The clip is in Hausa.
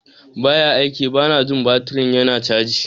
Ba ya aiki - Bana jin baturin yana caji.